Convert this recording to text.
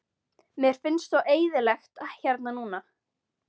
Mér finnst svo eyðilegt hérna núna.